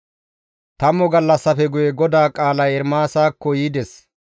Tammu gallassafe guye GODAA qaalay Ermaasakko yides.